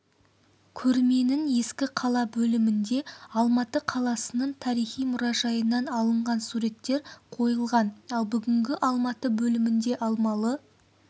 көрменің ескі қала бөлімінде алматы қаласының тарихи мұражайынан алынған суреттер қойылған ал бүгінгі алматы бөлімінде алмалы